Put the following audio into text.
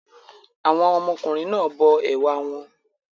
Àwọn ọmọkùnrin náà bọ ẹ̀wà wọn.